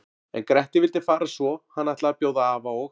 En Grettir vildi fara svo hann ætlaði að bjóða afa og